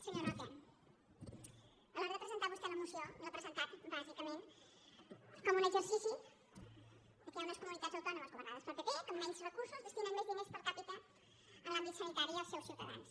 senyor roca a l’ hora de presentar vostè la moció l’ha presentat bàsicament com un exercici que hi ha unes comunitats autònomes governades pel pp que amb menys recursos destinen més diners per capita a l’àmbit sanitari i als seus ciutadans